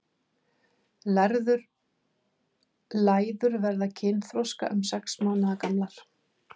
Læður verða kynþroska um sex mánaða gamlar.